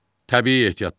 Təbii ehtiyatlar.